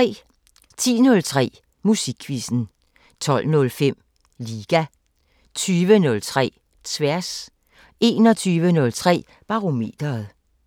10:03: Musikquizzen 12:05: Liga 20:03: Tværs 21:03: Barometeret